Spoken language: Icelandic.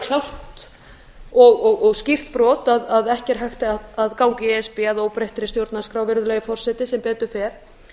alveg klárt og skýrt brot að ekki er hægt að ganga í e s b að óbreyttri stjórnarskrá virðulegi forseti sem betur fer